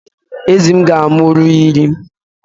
Ezi m ga-amụru iri